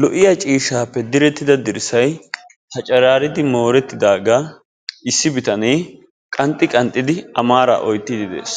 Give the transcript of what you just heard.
Lo'iya ciishshappe direttida dirssay paccaraaridi moorettidaagaa issi bitane qanxxi qanxxidi a maara oottidi de'ees.